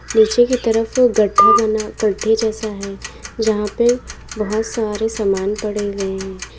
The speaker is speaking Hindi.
नीचे की तरफ गड्ढा बना गड्ढे जैसा है जहां पे बहोत सारे सामान पड़े हुए हैं।